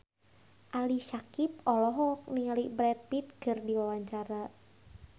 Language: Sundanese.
Ali Syakieb olohok ningali Brad Pitt keur diwawancara